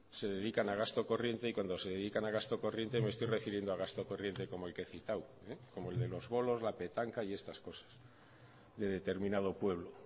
se dedican a gasto corriente y cuando se dedican a gasto corriente me estoy refiriendo a gasto corriente como el que he citado como el de los bolos la petanca y estas cosas de determinado pueblo